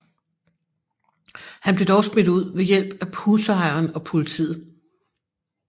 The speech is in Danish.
Han blev dog smidt ud ved hjælp af husejeren og politiet